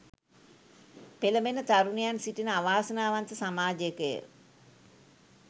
පෙළඹෙන තරුණයන් සිටින අවාසනාවන්ත සමාජයකය.